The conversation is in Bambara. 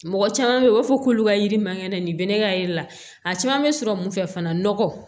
Mɔgɔ caman bɛ u b'a fɔ k'olu ka yiri mankan dɛ nin bɛ ne ka yiri la a caman bɛ sɔrɔ mun fɛ fana nɔgɔ